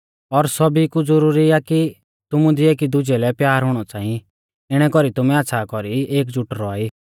और सौभी कु ज़ुरुरी आ कि तुमु दी एकी दुजै लै प्यार हुणौ च़ांई इणै कौरी तुमै आच़्छ़ा कौरी एकजुट रौआ ई